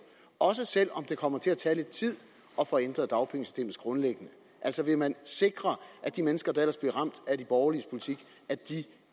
også selv om det kommer til at tage lidt tid at få ændret dagpengesystemet grundlæggende altså vil man sikre at de mennesker der ellers bliver ramt af de borgerliges politik